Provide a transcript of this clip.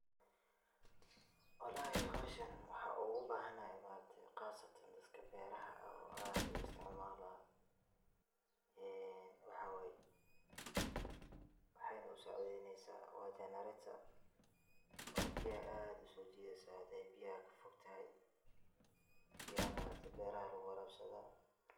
Walahi hawshaan waxa ogu bahanahay ma aragtee qaasatan daadka beeraha aad ayey u isticmalan ee waxa wayee waxeey na u saacideynesa wa jenereta oo biyahaa aad usojideysaa hadey biyaha kafoogtahay biyaha ma aragtee beeraha lagu waarabsadha.